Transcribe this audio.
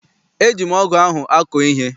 Eji m ọgụ ahụ akọ ihe.